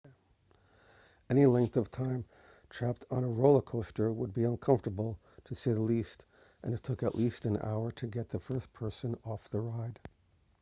any length of time trapped on a roller coaster would be uncomfortable to say the least and it took at least an hour to get the first person off the ride